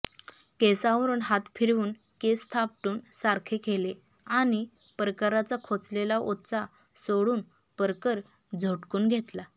केसांवरून हात फिरवून केस थापटून सारखे केले आणि परकराचा खोचलेला ओचा सोडून परकर झटकून घेतला